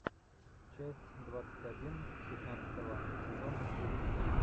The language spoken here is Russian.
часть двадцать один пятнадцатого сезона кухня